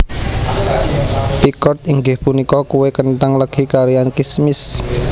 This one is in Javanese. Pickert inggih punika kue kenthang legi kaliyan kismis